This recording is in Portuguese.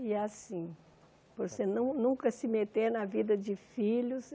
E assim, você não nunca se meter na vida de filhos.